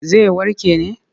Zai warke ne.